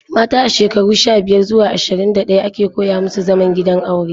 Mata a shekarun sha-biyar zuwa ashirin da ɗaya ake koya musu zaman gidan aure.